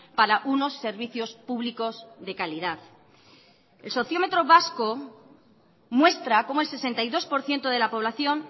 para unos servicios públicos de calidad el sociómetro vasco muestra cómo el sesenta y dos por ciento de la población